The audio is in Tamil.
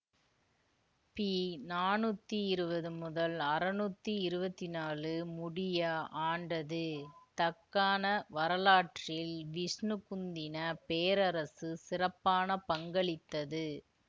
பி நானூத்தி இருவது முதல் அறுநூத்தி இருவத்தி நாலு முடிய ஆண்டது தக்கான வரலாற்றில் விஷ்ணு குந்தின பேரரசு சிறப்பான பங்களித்தது